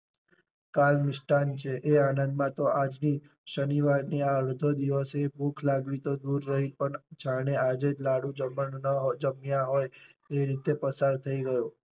કાલ મિષ્ટાન છે એ આનંદ માં તો આજ ની શનિવાર ની આ અડધો દિવસ ની ભૂખ લાગવી તો દૂર રહી પણ જાણે આજે જ લાડુ જમવાનું ન હોય જમ્યા ન હોય એ રીતે પસાર થઈ ગયો.